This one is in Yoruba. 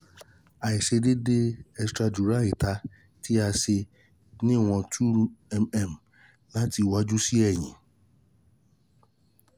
aiṣedeede extradural ita ti o ṣe iwọn two mm lati iwaju si ẹhin